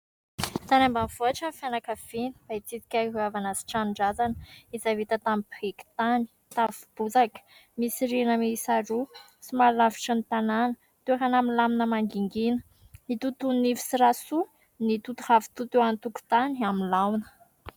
Tany ambanivohitra ny fianakaviana mba hitsidika ny havana sy ny tranon-drazana izay vita tamin'ny biriky sy tafo bozaka, misy rihana miisa roa ; somary lavitry ny tanàna, toerana milamina mangingina. I totoa Nivo sy Rasoa mitoto ravitoto eo an-tokotany amin'ny laona.